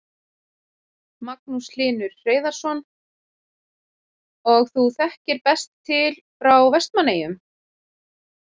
Magnús Hlynur Hreiðarsson: Og þú þekkir best til frá Vestmannaeyjum?